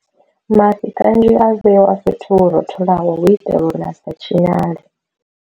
Mafhi kanzhi a vhewa fhethu ho rotholaho hu itela uri a sa tshinyale.